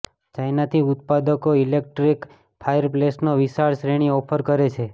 China થી ઉત્પાદકો electric ફાયરપ્લેસનો વિશાળ શ્રેણી ઓફર કરે છે